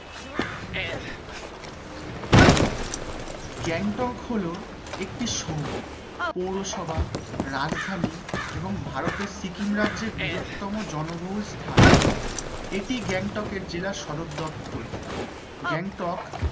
গ্যাংটক হলো একটি শহর পৌরসভা রাজধানী এবং ভারতের সিকিম রাজ্যের বৃহত্তম জনবহুল স্থান এটি গ্যাংটক গ্যাংটক